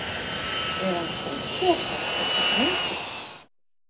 Er hann sósíópat, þessi drengur?